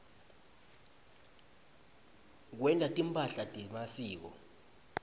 kwenta timphahla temasiko